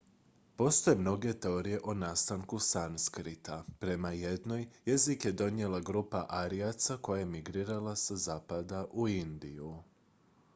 postoje mnoge teorije o nastanku sanskrta prema jednoj jezik je donijela grupa arijaca koja je migrirala sa zapada u indiju